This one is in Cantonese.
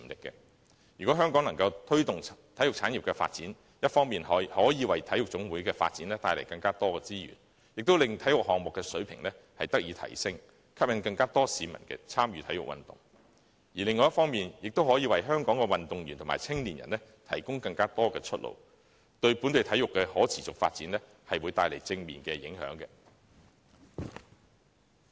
若香港能推動體育產業的發展，一方面可以為體育總會的發展帶來更多資源，令體育項目的水平得以提升，並吸引更多市民參與體育運動；另一方面，亦可以為香港的運動員和青年人提供更多出路，為本地體育的可持續發展帶來正面的影響。